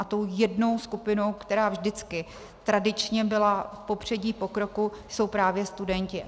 A tou jednou skupinou, která vždycky tradičně byla v popředí pokroku, jsou právě studenti.